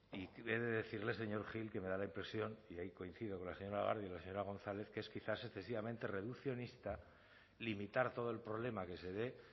y he decirle señor gil que me da la impresión y ahí coincido con la señora garde y la señora gonzález que es quizás excesivamente reduccionista limitar todo el problema que se dé